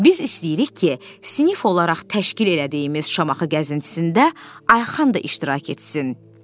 Biz istəyirik ki, sinif olaraq təşkil elədiyimiz Şamaxı gəzintisində Ayxan da iştirak etsin.